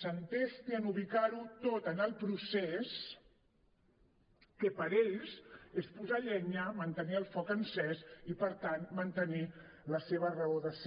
s’entesti a ubicar ho tot en el procés que per ells és posar llenya mantenir el foc encès i per tant mantenir la seva raó de ser